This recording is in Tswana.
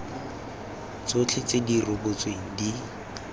tsotlhe tse di rebotsweng di